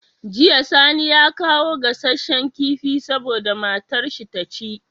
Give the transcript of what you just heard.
Jiya sani ya kawo gassashen kifi saboda matar shi taci